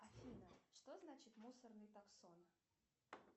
афина что значит мусорный таксон